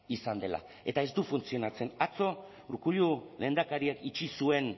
izan dela eta ez du funtzionatzen atzo urkullu lehendakariak itxi zuen